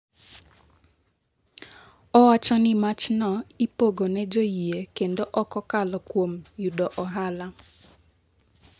Owacho ni machno ipogo ne joyie kendo ok kokalo kuom yudo ohala''.